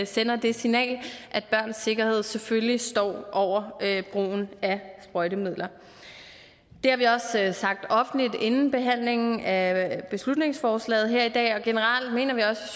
sender det signal at børns sikkerhed selvfølgelig står over brugen af sprøjtemidler det har vi også sagt offentligt inden behandlingen af beslutningsforslaget her i dag og generelt mener vi også